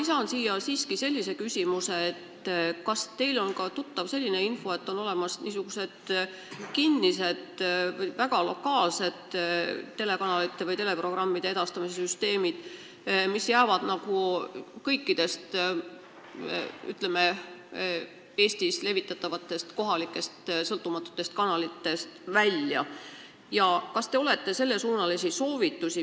Ma lisan siia sellise küsimuse: kas teile on teada selline info, et on olemas kinnised või väga lokaalsed teleprogrammide edastamise süsteemid, mis jäävad kõikidest Eestis tegutsevatest sõltumatutest kanalitest välja?